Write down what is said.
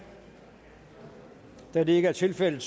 da det ikke er tilfældet